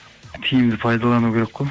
тиімді пайдалану керек қой